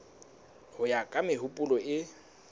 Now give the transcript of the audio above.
ho ya ka mehopolo e